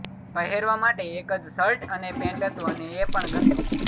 પહેરવા માટે એક જ શર્ટ અને પેન્ટ હતું અને એ પણ ગંદુ